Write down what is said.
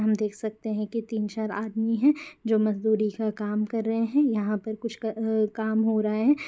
हम देख सकते है की तीन चार आदमी है जो मजदूरी का काम कर रहे है यहाँ पर कुछ अ काम हो रहा है।